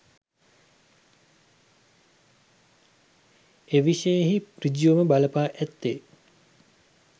එවිෂයෙහි සෘජුවම බල පා ඇත්තේ